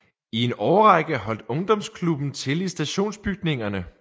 I en årrække holdt ungdomsklubben til i stationsbygningerne